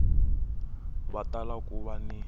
va tala ku va ni